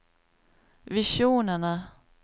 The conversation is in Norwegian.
visjonene